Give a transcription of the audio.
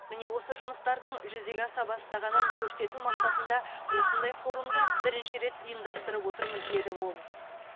міне осы жұмыстардың жүзеге аса бастағанын көрсету мақсатында осындай форумды бірінші рет ұйымдастырып отырмыз деді ол